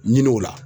Ɲini o la